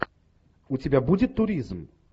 у тебя будет туризм